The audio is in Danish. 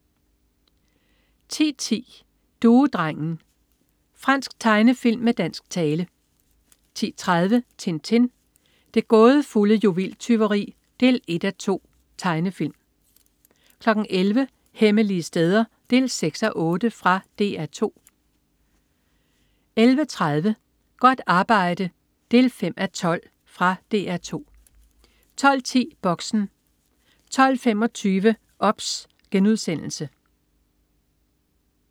10.10 Duedrengen. Fransk tegnefilm med dansk tale 10.30 Tintin. Det gådefulde juveltyveri 1:2. Tegnefilm 11.00 Hemmelige steder 6:8. Fra DR 2 11.30 Godt arbejde 5:12. Fra DR 2 12.10 Boxen 12.25 OBS*